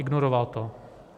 Ignoroval to.